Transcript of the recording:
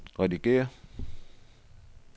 redigér